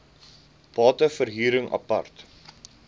bate verhuring apart